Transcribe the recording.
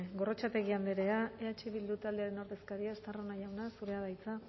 gorrotxategi andrea eh bildu taldearen ordezkaria estarrona jauna zurea da hitza